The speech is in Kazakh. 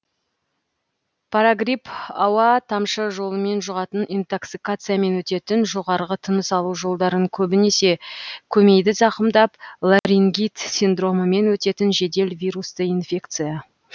парагрипп ауа тамшы жолымен жұғатын интоксикациямен өтетін жоғарғы тыныс алу жолдарын көбінесе көмейді зақымдап ларингит синдромымен өтетін жедел вирусты инфекция